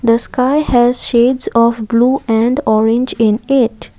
the sky has shades of blue and orange in it.